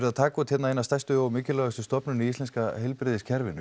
að taka út eina stærstu og mikilvægustu stofnun í íslenska heilbrigðiskerfinu